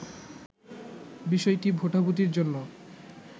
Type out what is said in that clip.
বিষয়টি ভোটাভুটির জন্য